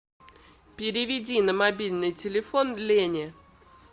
переведи на мобильный телефон лене